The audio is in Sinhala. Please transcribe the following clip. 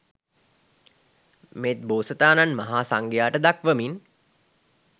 මෙත් බෝසතාණන් මහා සංඝයාට දක්වමින්